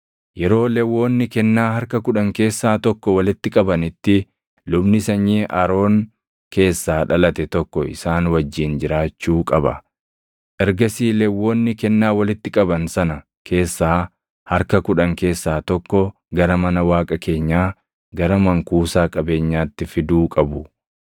Yeroo Lewwonni kennaa harka kudhan keessaa tokko walitti qabanitti lubni sanyii Aroon keessaa dhalate tokko isaan wajjin jiraachuu qaba; ergasii Lewwonni kennaa walitti qaban sana keessaa harka kudhan keessaa tokko gara mana Waaqa keenyaa, gara mankuusaa qabeenyaatti fiduu qabu.